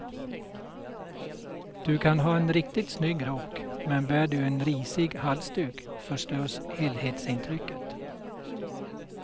Du kan ha en riktigt snygg rock men bär du en risig halsduk förstörs helhetsintrycket.